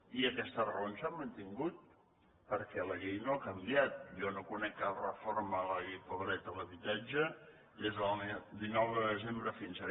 i aquestes raons s’han mantingut perquè la llei no ha canviat jo no conec cap reforma de la llei del dret a l’habitatge des del dinou de desembre fins ara